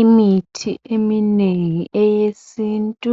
Imithi eminengi eyesintu